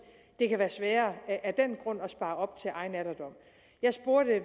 det kan være sværere af den grund at spare op til egen alderdom jeg spurgte